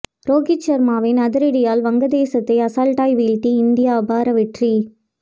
ரோஹித் சர்மாவின் அதிரடியால் வங்கதேசத்தை அசால்ட்டா வீழ்த்தி இந்தியா அபார வெற்றி